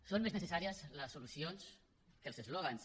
són més necessàries les solucions que els eslògans